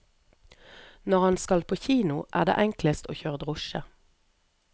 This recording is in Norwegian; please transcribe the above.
Når han skal på kino, er det enklest å kjøre drosje.